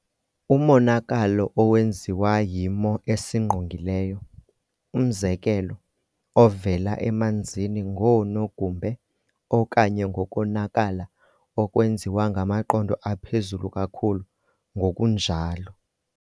Umonakalo owenziwa yimo esingqongileyo, umzekelo, ovela emanzini ngoonogumbe okanye ngokonakala okwenziwa ngamaqondo aphezulu kakhulu, ngokunjalo